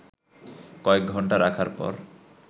কয়েক ঘন্টা রাখার পর